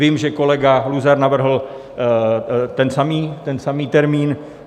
Vím, že kolega Luzar navrhl ten samý termín.